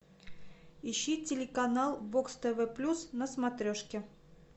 ищи телеканал бокс тв плюс на смотрешке